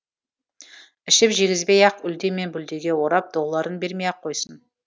ішіп жегізбей ақ үлде мен бүлдеге орап долларын бермей ақ қойсын